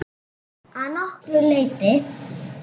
Að nokkru leyti.